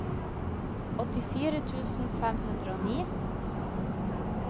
åttifire tusen fem hundre og ni